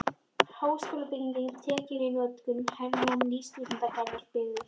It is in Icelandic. Háskólabyggingin tekin í notkun- Hernám- Nýr stúdentagarður byggður